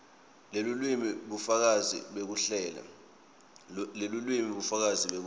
lelulwimi bufakazi bekuhlela